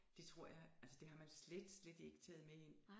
Det tror jeg altså det har man slet slet ikke taget med ind